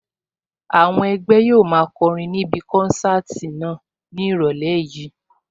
Àwọn ẹgbẹ́ yóò máa kọrin ní ibí kánsáàtì náà ní ìrọ̀lẹ́ yìí